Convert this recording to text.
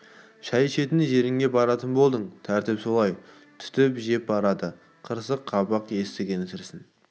шай ішетін жеріңе баратын болдың тәртіп солай түтіп жеп барады қырыс қабақ етігінің сірісін